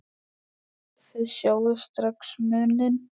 Þið sjáið strax muninn.